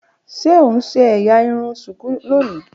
Ṣe o n ṣe ẹ́yà irun shuku loni?